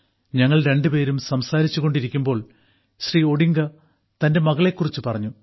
ഞങ്ങൾ രണ്ടുപേരും സംസാരിച്ചു കൊണ്ടിരിക്കുമ്പോൾ ശ്രീ ഒഡിംഗ തന്റെ മകളെക്കുറിച്ച് പറഞ്ഞു